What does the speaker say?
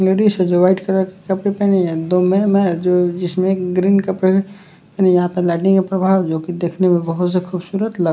ladies है जो white colour की कपरे पेहनी है दो मैम है जो जिसमें ग्रीन कपड़े यहां पर लाइटिंग का प्रभाव जो कि देखने में बहोत जादा खूबसूरत लग --